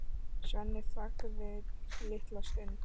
Sveinn þagði litla stund.